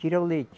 Tira o leite.